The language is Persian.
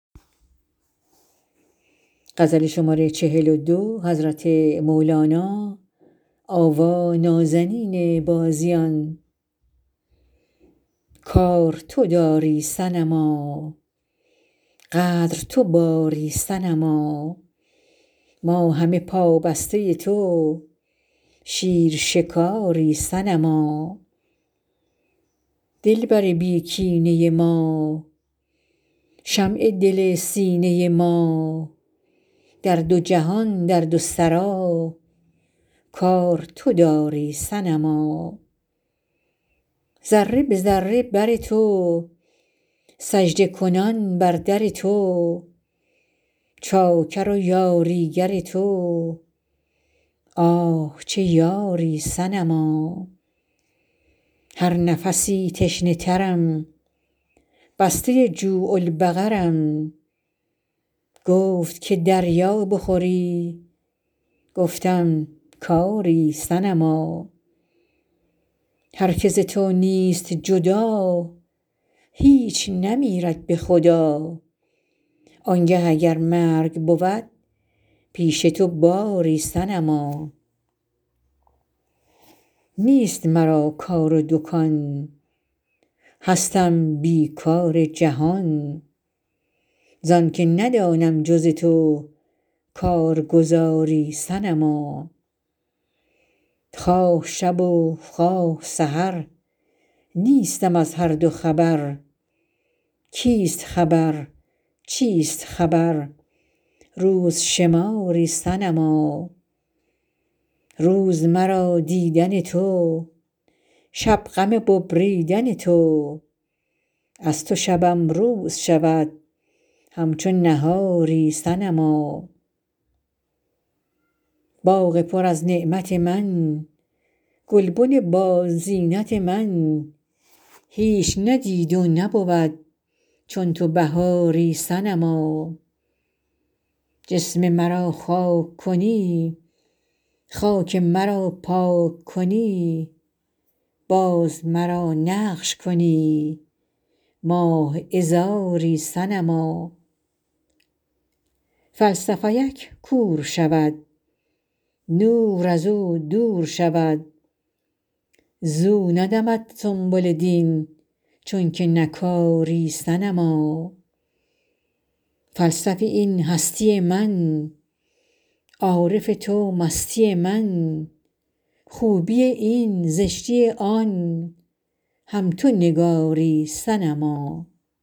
کار تو داری صنما قدر تو باری صنما ما همه پابسته تو شیر شکاری صنما دلبر بی کینه ما شمع دل سینه ما در دو جهان در دو سرا کار تو داری صنما ذره به ذره بر تو سجده کنان بر در تو چاکر و یاریگر تو آه چه یاری صنما هر نفسی تشنه ترم بسته جوع البقرم گفت که دریا بخوری گفتم که آری صنما هر کی ز تو نیست جدا هیچ نمیرد به خدا آنگه اگر مرگ بود پیش تو باری صنما نیست مرا کار و دکان هستم بی کار جهان زان که ندانم جز تو کارگزاری صنما خواه شب و خواه سحر نیستم از هر دو خبر کیست خبر چیست خبر روز شماری صنما روز مرا دیدن تو شب غم ببریدن تو از تو شبم روز شود همچو نهاری صنما باغ پر از نعمت من گلبن بازینت من هیچ ندید و نبود چون تو بهاری صنما جسم مرا خاک کنی خاک مرا پاک کنی باز مرا نقش کنی ماه عذاری صنما فلسفی ک کور شود نور از او دور شود زو ندمد سنبل دین چونک نکاری صنما فلسفی این هستی من عارف تو مستی من خوبی این زشتی آن هم تو نگاری صنما